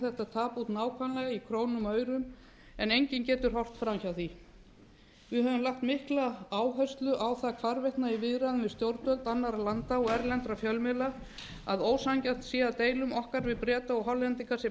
þetta tap út nákvæmlega í krónum og aurum en enginn getur horft fram hjá því við höfum lagt mikla áherslu á það hvarvetna í viðræðum við stjórnvöld annarra landa og erlenda fjölmiðla að ósanngjarnt sé að deilum okkar við breta og hollendinga sé